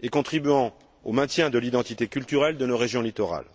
et contribuant au maintien de l'identité culturelle de nos régions littorales.